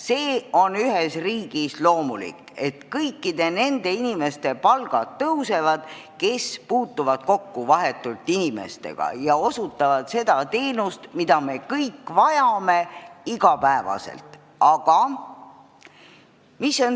See on ühes riigis loomulik, et tõusevad nende töötajate palgad, kes inimestega vahetult kokku puutuvad ja osutavad teenuseid, mida me kõik iga päev vajame.